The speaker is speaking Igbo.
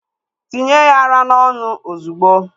Tinye ya ara n'ọnụ ozugbo!